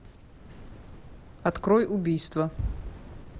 открой убийство